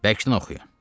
Bərkdən oxuyun.